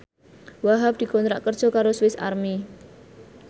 Wahhab dikontrak kerja karo Swis Army